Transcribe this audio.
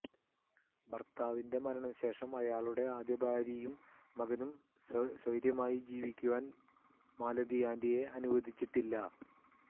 ഭർത്താവിന്റെ മരണ ശേഷം അയാളുടെ ആദ്യ ഭാര്യയും മകനും സ്വൈര്യമായി ജീവിക്കുവാൻ മാലതി ആന്റിയെ അനുവദിച്ചിട്ടില്ല